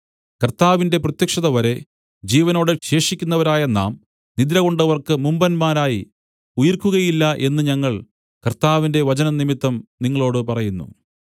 കർത്താവിന്റെ പ്രത്യക്ഷതവരെ ജീവനോടെ ശേഷിക്കുന്നവരായ നാം നിദ്രകൊണ്ടവർക്ക് മുമ്പന്മാരായി ഉയിർക്കുകയില്ല എന്നു ഞങ്ങൾ കർത്താവിന്റെ വചനംനിമിത്തം നിങ്ങളോടു പറയുന്നു